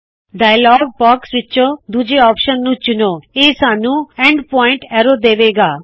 dialogue box ਵਿੱਚੋ ਦੂੱਜੇ option ਨੂੰ ਚੁਣੋ ਇਹ ਸਾੱਨੂ ਐਂਡ ਪਾਇਂਟ ਐਰੋ ਦੇਵੇ ਗਾ